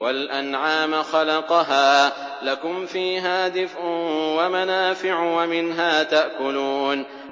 وَالْأَنْعَامَ خَلَقَهَا ۗ لَكُمْ فِيهَا دِفْءٌ وَمَنَافِعُ وَمِنْهَا تَأْكُلُونَ